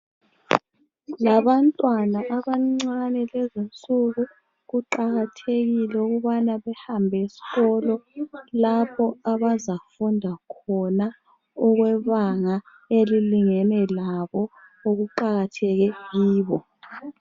Labantwana abancane lezinsuku kuqakathekile ukubana behambesikolo lapho abazafunda khona okwebanga elilingene labo okuqakatheke kibo.